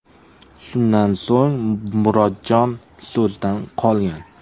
Shundan so‘ng Murodjon so‘zdan qolgan.